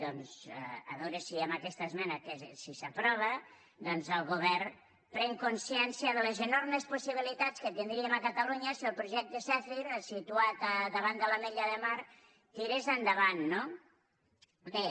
doncs a veure si amb aquesta esmena si s’aprova doncs el govern pren consciència de les enormes possibilitats que tindríem a catalunya si el projecte zèfir situat davant de l’ametlla de mar tirés endavant no bé